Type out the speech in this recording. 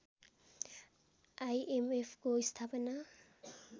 आइएमएफको स्थापना